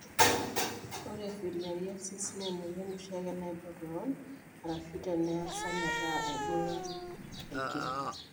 Ore eFilariasis naa emuyian oshiake naibok kewon arashu teneasa metaa eibung'a aigil.